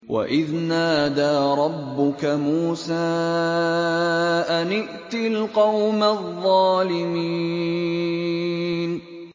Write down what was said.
وَإِذْ نَادَىٰ رَبُّكَ مُوسَىٰ أَنِ ائْتِ الْقَوْمَ الظَّالِمِينَ